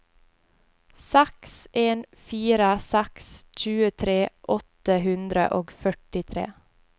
seks en fire seks tjuetre åtte hundre og førtitre